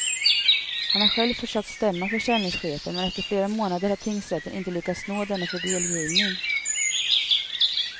Han har själv försökt stämma försäljningschefen men efter flera månader har tingsrätten inte lyckats nå denne för delgivning.